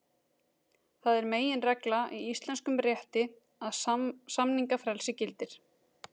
Það er meginregla í íslenskum rétti að samningafrelsi gildir.